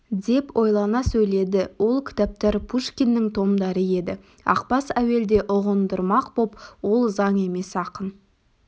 деп ойлана сөйледі ол кітаптар пушкиннің томдары еді ақбас әуелде ұғындырмақ боп ол заң емес ақын